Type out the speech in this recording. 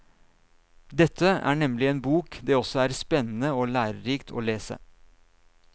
Dette er nemlig en bok det også er spennende og lærerikt å lese.